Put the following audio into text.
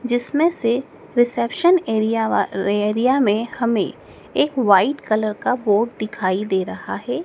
जिसमें से reception area में हमें एक वाइट कलर का बोर्ड दिखाई दे रहा है।